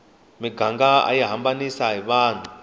miganga ayi hambanisa vanhu